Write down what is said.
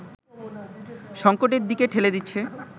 সংকটের দিকে ঠেলে দিচ্ছে